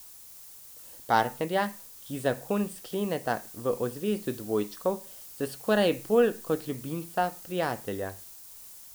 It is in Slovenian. Partnerja, ki zakon skleneta v ozvezdju dvojčkov, sta skoraj bolj kot ljubimca prijatelja.